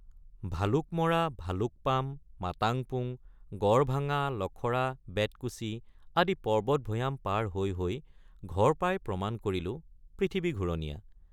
ভালুকমৰা ভালুকপাম মাতাংপুং গড়ভাঙা লখৰা বেতকুছি আদি পৰ্বতভৈয়াম পাৰ হৈ হৈ ঘৰ পাই প্ৰমাণ কৰিলোঁ পৃথিৱী ঘুৰণীয়া।